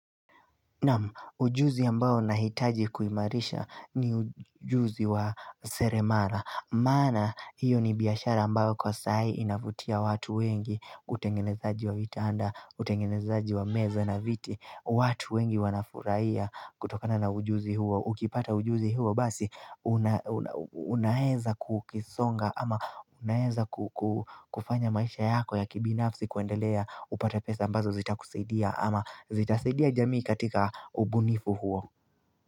Namu, ujuzi ambao nahitaji kuimarisha ni ujuzi wa seremara. Maana, hiyo ni biashara ambao kwa sai inavutia watu wengi, utengenezaji wa vitanda, utengenezaji wa meza na viti, watu wengi wanafurahia kutokana na ujuzi huo. Ukipata ujuzi huo basi, unaeza kukisonga ama unaeza kufanya maisha yako ya kibinafsi kuendelea upata pesa ambazo zitakusaidia ama zitasidia jamii katika ubunifu huo.